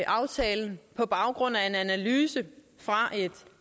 aftalen på baggrund af en analyse fra et